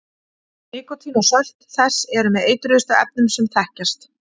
nikótín og sölt þess eru með eitruðustu efnum sem þekkjast